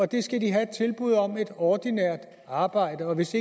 de skal have et tilbud om et ordinært arbejde og hvis